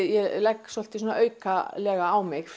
ég legg svolítið aukalega á mig